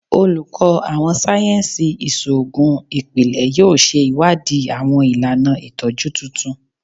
Oluko Awọn sáyẹnsì Iṣoogun Ipilẹ yoo ṣe iwadii awọn ilana itọju tuntun